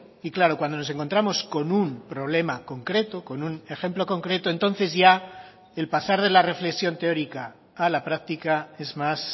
y claro cuando nos encontramos con un problema concreto con un ejemplo concreto entonces ya el pasar de la reflexión teórica a la práctica es más